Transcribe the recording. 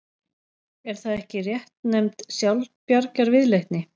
Er það ekki réttnefnd sjálfsbjargarviðleitni?